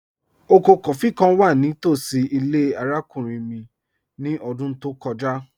Ọkọ kófí̀ kàn wà ní tosí ilẹ̀ arákùnrin mi ní ọ̀dún tó kọja